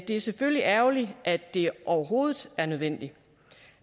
det selvfølgelig er ærgerligt at det overhovedet er nødvendigt